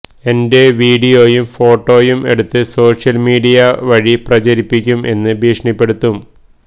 എന്റെ വീഡിയോയും ഫോട്ടോയും എടുത്ത് സോഷ്യൽ മീഡിയ വഴി പ്രചരിപ്പിക്കും എന്ന് ഭീഷണിപ്പെടുത്തും